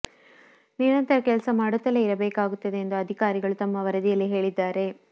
ನಿರಂತರ ಕೆಲಸ ಮಾಡುತ್ತಲೇ ಇರಬೇಕಾಗುತ್ತದೆ ಎಂದು ಅಧಿಕಾರಿಗಳು ತಮ್ಮ ವರದಿಯಲ್ಲಿ ಹೇಳಿದ್ದಾರೆ